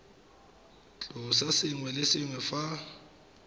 tlosa sengwe le sengwe fa